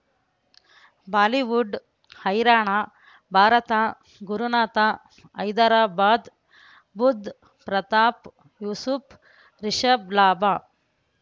Bollywood ಹೈರಾಣ ಭಾರತ ಗುರುನಾಥ ಹೈದರಾಬಾದ್ ಬುಧ್ ಪ್ರತಾಪ್ ಯೂಸುಫ್ ರಿಷಬ್ ಲಾಭ